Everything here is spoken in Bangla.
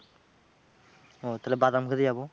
ওহ তাহলে বাদাম খেতে যাব।